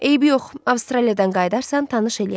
Eybi yox, Avstraliyadan qayıdarsan, tanış eləyərəm.